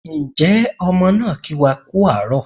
Ǹjẹ́ ọmọ náà kí wá kú àárọ̀